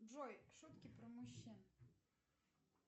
джой шутки про мужчин